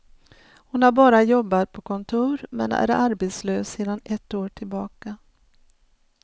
Hon har bara jobbat på kontor, men är arbetslös sedan ett år tillbaka.